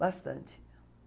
Bastante.